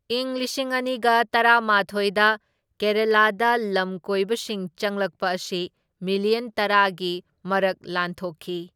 ꯏꯪ ꯂꯤꯁꯤꯡ ꯑꯅꯤꯒ ꯇꯔꯥꯃꯥꯊꯣꯢꯗ ꯀꯦꯔꯥꯂꯥꯗ ꯂꯝꯀꯣꯏꯕꯁꯤꯡ ꯆꯪꯂꯛꯄ ꯑꯁꯤ ꯃꯤꯂꯤꯌꯟ ꯇꯔꯥꯒꯤ ꯃꯔꯛ ꯂꯥꯟꯊꯣꯛꯈꯤ꯫